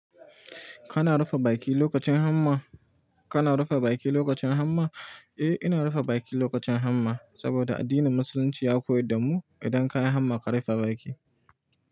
Kana rufe baki lokacin hamma? Kana rufe baki lokacin hamma? Eh, ina rufe baki lokacin hamma, saboda addinin Musulunci ya koyar da mu idan ka yi hamma ka rufe baki.